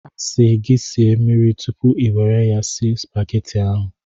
A sị gị sie mmiri tupu ị nwere ya sie supageti ahụ.